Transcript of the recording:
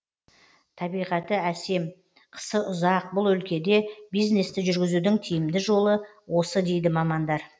табиғаты әсем қысы ұзақ бұл өлкеде бизнесті жүргізудің тиімді жолы осы дейді мамандар